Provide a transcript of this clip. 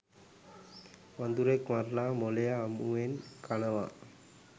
වඳුරෙක් මරලා මොළය අමුවෙන් කනවා.